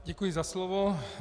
Děkuji za slovo.